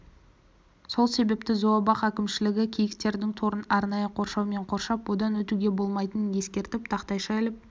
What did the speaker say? сол себепті зообақ әкімшілігі киіктердің торын арнайы қоршаумен қоршап одан өтуге болмайтынын ескертетін тақтайша іліп